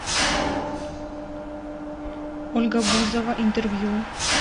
ольга бузова интервью